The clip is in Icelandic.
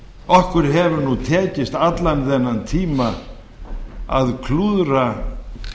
okkur hefur nú tekist allan þennan tíma að klúðra